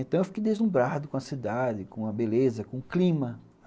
Então eu fiquei deslumbrado com a cidade, com a beleza, com o clima.